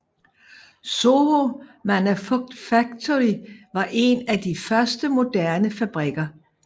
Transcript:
Soho Manufactory var en af de første moderne fabrikker